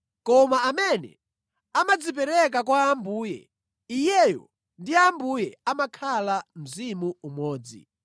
Koma amene amadzipereka kwa Ambuye, iyeyo ndi Ambuye amakhala mzimu umodzi.